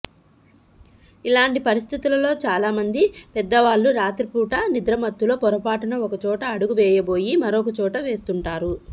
ఇలాంటి పరిస్థితుల్లో చాలామంది పెద్దవాళ్లు రాత్రిపూట నిద్రమత్తులో పొరపాటున ఒక చోట అడుగు వేయబోయి మరోచోట వేస్తుంటారు